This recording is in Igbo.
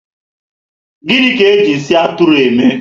Gịnị ka eji nsị Atụrụ eme?